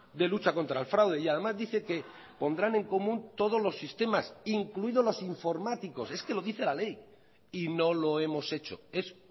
de lucha contra el fraude y además dice que pondrán en común todos los sistemas incluidos los informáticos es que lo dice la ley y no lo hemos hecho es